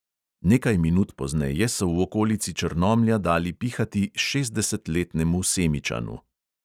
Nekaj minut pozneje so v okolici črnomlja dali pihati šestdesetletnemu semičanu.